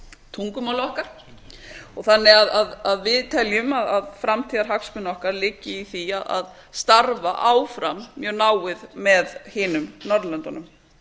tungumál okkar þannig að við teljum að framtíðarhagsmunir okkar liggi í því að starfa áfram mjög náið með hinum norðurlöndunum